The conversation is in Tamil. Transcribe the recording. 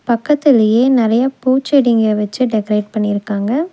பக்கத்திலயே நெறைய பூச்செடிங்க வெச்சு டெக்கரேட் பண்ணிருக்காங்க.